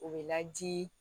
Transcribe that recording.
O bɛ laji